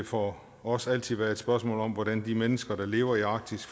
for os altid være et spørgsmål om hvordan de mennesker der lever i arktis